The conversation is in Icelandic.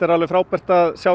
frábært að sjá